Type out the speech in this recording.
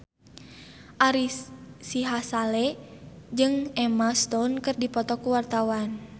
Ari Sihasale jeung Emma Stone keur dipoto ku wartawan